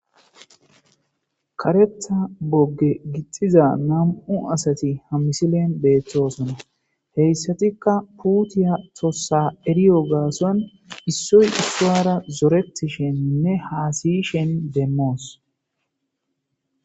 karetha bogge gixxiza nam'u asati ha misilen beettosona heyssatikka puutiya tossa eriyo gaason issuy issuyara zoretisheninne haasiyishen demmoos